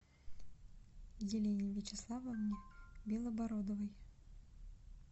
елене вячеславовне белобородовой